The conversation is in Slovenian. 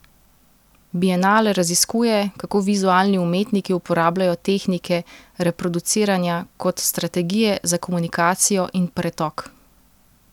Bienale raziskuje, kako vizualni umetniki uporabljajo tehnike reproduciranja kot strategije za komunikacijo in pretok.